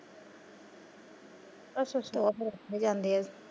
ਅੱਛਾ ਅੱਛਾ ਉਹ ਫਿਰ ਉੱਥੇ ਜਾਂਦੇ ਆ।